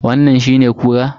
Wannan shine kura?